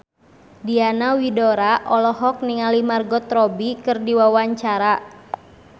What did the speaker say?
Diana Widoera olohok ningali Margot Robbie keur diwawancara